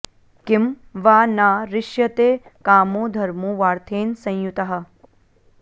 किं वा न रिष्यते कामो धर्मो वार्थेन संयुतः